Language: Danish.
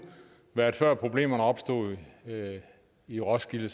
været før problemerne var opstået i roskilde